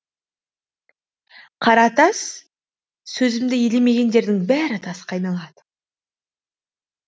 қара тас сөзімді елемегендердің бәрі тасқа айналады